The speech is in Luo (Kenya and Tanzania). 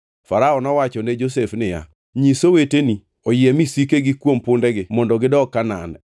Farao nowacho ne Josef niya, “Nyis oweteni, oyie misikegi kuom pundegi mondo gidog Kanaan,